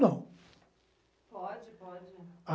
nao. Pode, pode.